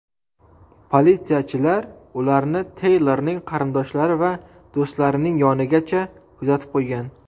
Politsiyachilar ularni Teylorning qarindoshlari va do‘stlarining yonigacha kuzatib qo‘ygan.